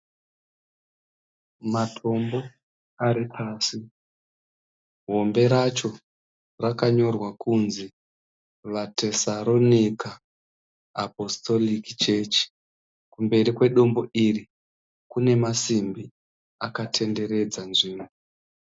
Matombo ari pasi hombe racho rakanyorwa kuti vatesaronika apostolic church. Kumberi kwedombo iri kune masimbi akatenderedza nzvimbo